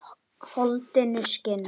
Holdinu skinn.